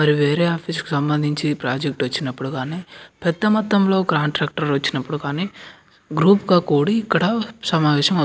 మరి వేరే ఆఫీస్ కి సంబంధించి ప్రాజెక్ట్ వచ్చినప్పుడు గానీ పెద్ద మొత్తం లో కాంట్రాక్టర్ వచ్చినప్పుడు కానీ గ్రూప్ కా కుడి ఇక్కడ సమావేశం --